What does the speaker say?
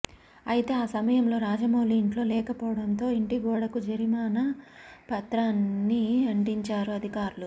అయితే ఆ సమయంలో చంద్రమౌళి ఇంట్లో లేకపోవడంతో ఇంటి గోడకు జరిమానా పత్రాన్ని అంటించారు అధికారులు